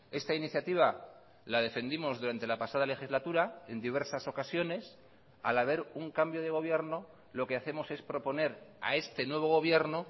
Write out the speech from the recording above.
eesta iniciativa la defendimos durante la pasada legislatura en diversas ocasiones al haber un cambio de gobierno lo que hacemos es proponer a este nuevo gobierno